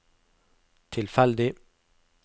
tilfeldig